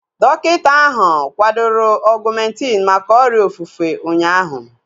Dọkịta ahu kwadoro Ọgumentin maka ọrịa ofufe ụnyaahụ